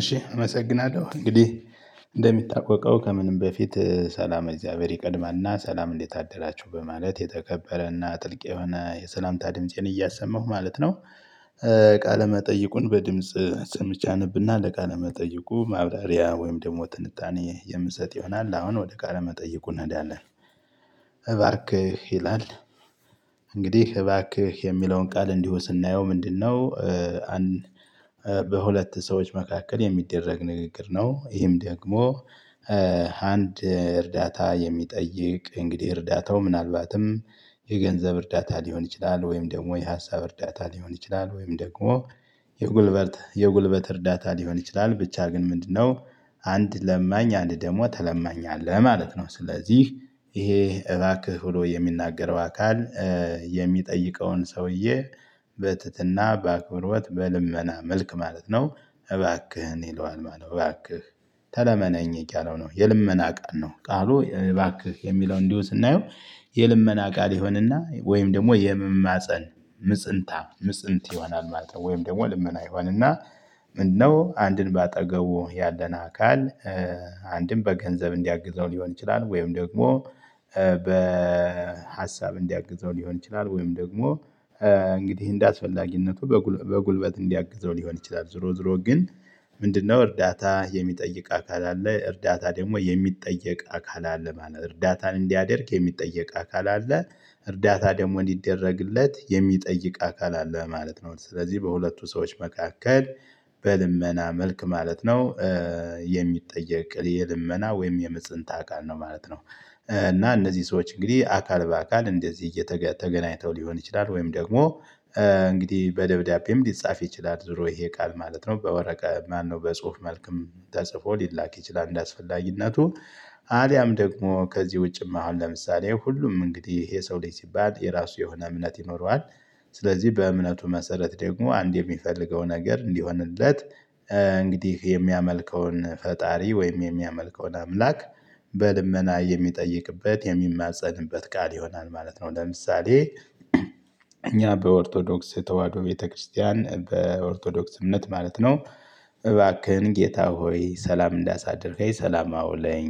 እሺ እመሰግናለሁ እንግዲህ እንደሚታወቀው ከምንም በፊት ሰላም እግዚአብሔር ይቀድማልና ሰላም እንዴቶ አደራችሁ በማለት የተከበረና ጥልቅ የሆነ የሰላምታ ድምፄን እያሰማሁ ማለት ነው። ቃለ መጠይቁን በድምጽ ሰምቼ አነብና ለቃለ መጠይቁ ማብራሪያ ወይም ደግሞ ትንታኔ የምሰጥ ይሆናል። አሁን ወደ ቃለ መጠይቁ እንሄዳለን። እባክህ ይላል። እንግዲህ እባክህ የሚለውን ቃል እንዲሁ ስናየው ምንድነው? በሁለት ሰዎች መካከል የሚደረግ ንግግር ነው። ይሄም ደግሞ አንድ እርዳታ የሚጠይቅ እንግዲህ እርዳታው ምናልባትም የገንዘብ እርዳታ ሊሆን ይችላል። ወይም ደግሞ የሀሳብ እርዳታ ሊሆን ይችላል። ወይም ደግሞ የጉልበት የጉልበት እርዳታ ሊሆን ይችላል ብቻ ግን ምንድነው? አንድ ለማኝ አንድ ደግሞ ተለማኝ አለ ማለት ነው። ስለዚህ ይሄ እባክህ ብሎ የሚናገረው አካል የሚጠይቀውን ሰውዬ በትህትና በአክብሮት በልመና መልክ ማለት ነው። እባክህን ይለዋል ማለት ነው። እባክህ ተለመነኝ እያለው ነው የልመና ቀን ነው። ቃሉ እባክህ የሚለው እንዲሁ ስናየው የልመና ቃል ይሆንና ወይም ደግሞ የመማፀን ምፅንታ ምፅንት ይሆናል ማለት ነው። ወይም ደግሞ ልመና ይሆን እና ምነው አንድን በአጠገቡ ያለን አካል አንድን በገንዘብ እንዲያግዘው ሊሆን ይችላል። ወይም ደግሞ በሀሳብ እንዲያግዘው ሊሆን ይችላል። ወይም ደግሞ እንግዲህ እንደአስፈላጊነቱ በጉልበት እንዲያግዘው ሊሆን ይችላል። ዙሮ ዙሮ ግን ምንድነው? እርዳታ የሚጠይቅ አካል አለ እርዳታ ደግሞ የሚጠየቅ አካል አለ ማለት ነው። እርዳታን እንዲያደርግ የሚጠየቅ አካል አለ። እርዳታ ደግሞ እንዲደረግለት የሚጠይቅ አካል አለ ማለት ነው። ስለዚህ በሁለቱ ሰዎች መካከል በልመና መልክ ማለት ነው። የሚጠየቅ የልመና ወይም የምጽንት አካል ነው ማለት ነው። እና እነዚህ ሰዎች እንግዲህ አካል በአካል እንደዚህ እየተ ተገናኝተው ሊሆን ይችላል። ወይም ደግሞ እንግዲህ በደብዳቤም ሊጻፍ ይችላል። ዙሮ ይሄ ቃል ማለት ነው በወረቀ ማነው በጽሁፍ መልክም ተጽፎ ሊላክ ይችላል። እንደ አስፈላጊነቱ አልያም ደግሞ ከዚህ ውጪም አሁን ለምሳሌ ሁሉም እንግዲህ ይሄ ሰው ልጅ ሲባል የራሱ የሆነ እምነት ይኖረዋል። ስለዚህ በእምነቱ መሰረት ደግሞ አንድ የሚፈልገው ነገር እንዲሆንለት እንግዲህ የሚያመልከውን ፈጣሪ ወይም የሚያመልከውን አምላክ በልመና የሚጠይቅበት የሚማፀንበት ቃል ይሆናል ማለት ነው። ለምሳሌ በኦርቶዶክስ ተዋህዶ ቤተክርስቲያን በኦርቶዶክስ እምነት ማለት ነው። እባክህን ጌታ ሆይ ሰላም እንዳሳድርከኝ ሰላም አውለኝ።